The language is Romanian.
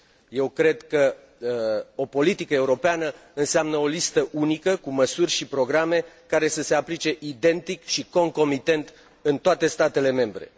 Eu cred că o politică europeană înseamnă o listă unică cu măsuri și programe care să se aplice identic și concomitent în toate statele membre.